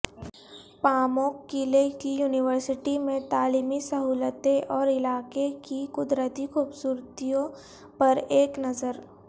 پاموک قلعے کی یونیورسٹی میں تعلیمی سہولتیں اور علاقے کی قدرتی خوبصورتیوں پر ایک نظر